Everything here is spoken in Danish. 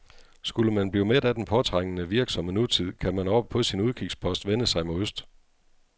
Skulle man blive mæt af den påtrængende, virksomme nutid, kan man oppe på sin udkigspost vende sig mod øst.